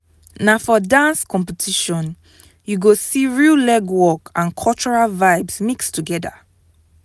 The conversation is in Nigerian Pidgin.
na for dance competition you go see real legwork and cultural vibes mix together.